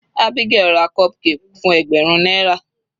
Abigael ra cupcake fún ẹgbẹ̀rún náírà.